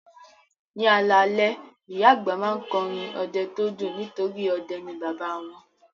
Ní alalẹ́, ìyá àgbà máa ń kọ́ orin ọdẹ tó dùn nítorí ọdẹ ni bàbá wọn